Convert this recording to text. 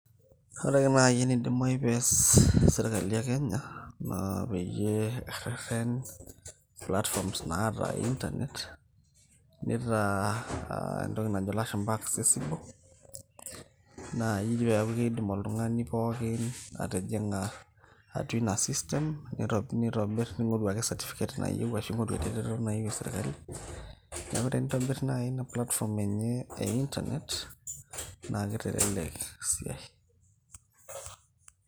ore ake naaji enidimayu pees sirkali e kenya naa peyie erreten platforms naata internet nitaa entoki najo ilashumba accesible metaa kiidim oltung'ani pookin atijing'a atua ina system nitobirr, ning'oru ake certificate nayieu ashu ing'oru eretoto nayieu esirkali neeku tenitobirr naaji ina platform enye e internet naa kitelelek esiai.